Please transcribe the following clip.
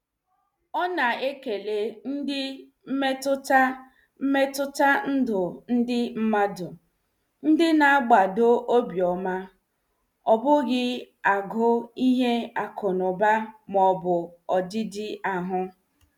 Ọ na- ekele ndị mmetụta mmetụta ndụ ndị mmadu, ndị na- gbado obiọma, ọ bụghị agụụ ihe akụnụba maọbụ ọdịdị ahụ.